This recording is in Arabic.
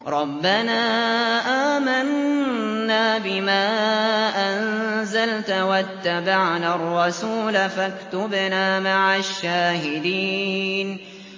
رَبَّنَا آمَنَّا بِمَا أَنزَلْتَ وَاتَّبَعْنَا الرَّسُولَ فَاكْتُبْنَا مَعَ الشَّاهِدِينَ